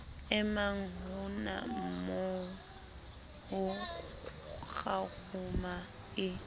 emang honamoo ho kgaruma e